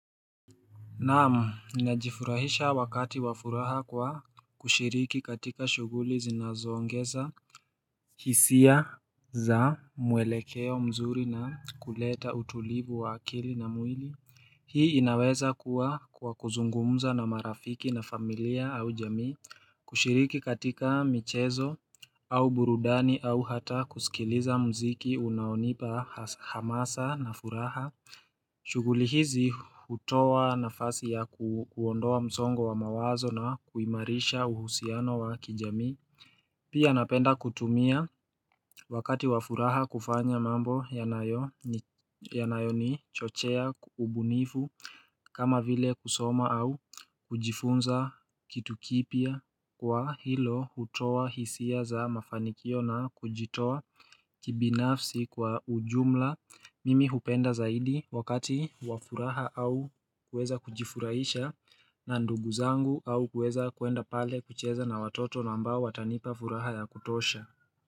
Na'am, najifurahisha wakati wa furaha kwa kushiriki katika shughuli zinazoongeza hisia za mwelekeo mzuri na kuleta utulivu wa akili na mwili Hii inaweza kuwa kwa kuzungumuza na marafiki na familia au jamii kushiriki katika michezo au burudani au hata kusikiliza muziki unaonipa hamasa na furaha shughuli hizi hutowa nafasi ya kuondoa msongo wa mawazo na kuimarisha uhusiano wa kijamii. Pia napenda kutumia wakati wa furaha kufanya mambo yanayonichochea ubunifu kama vile kusoma au kujifunza kitu kipya kwa hilo hutowa hisia za mafanikio na kujitoa. Kibinafsi kwa ujumla. Mimi hupenda zaidi wakati wa furaha au kuweza kujifurahisha na ndugu zangu au kuweza kuenda pale kucheza na watoto nambao watanipa furaha ya kutosha.